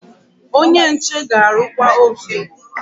Onye nche ga-arụkwa ovun.